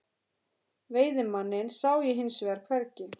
Veiðimanninn sá ég hins vegar hvergi.